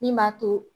Min b'a to